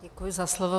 Děkuji za slovo.